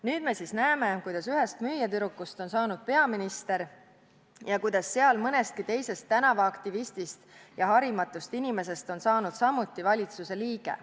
Nüüd me siis näeme, kuidas ühest müüjatüdrukust on saanud peaminister ja kuidas seal mõnestki teisest tänavaaktivistist ja harimatust inimesest on saanud samuti valitsuse liige.